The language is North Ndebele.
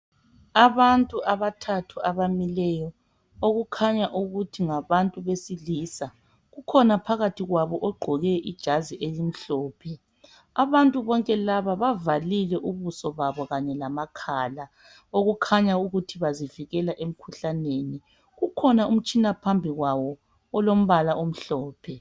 Abantu abathathu abamileyo okukhanya ukuthi ngabantu besilisa kukhona phakathi kwabo ogqoke ijazi elimhlophe abantu bonke laba bavalile ubuso babo kanye lamakhala okukhanya ukuthi bazivikela emkhuhlaneni kukhona umtshina phambi kwabo olombala omhlophe.